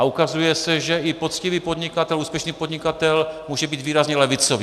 A ukazuje se, že i poctivý podnikatel, úspěšný podnikatel může být výrazně levicový.